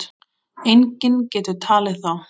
Enginn getur talið þá.